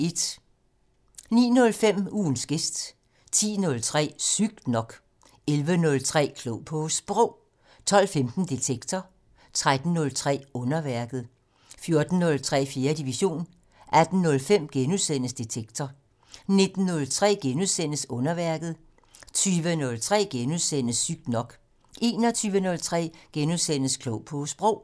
09:05: Ugens gæst 10:03: Sygt nok 11:03: Klog på Sprog 12:15: Detektor 13:03: Underværket 14:03: 4. division 18:05: Detektor * 19:03: Underværket * 20:03: Sygt nok * 21:03: Klog på Sprog *